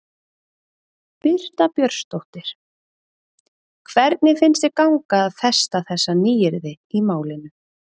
Birta Björnsdóttir: Hvernig finnst þér ganga að festa þessi nýyrði í málinu?